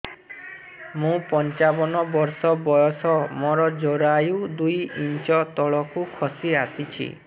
ମୁଁ ପଞ୍ଚାବନ ବର୍ଷ ବୟସ ମୋର ଜରାୟୁ ଦୁଇ ଇଞ୍ଚ ତଳକୁ ଖସି ଆସିଛି